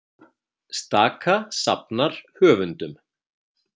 Staka safnar höfundum